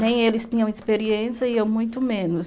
Nem eles tinham experiência e eu muito menos.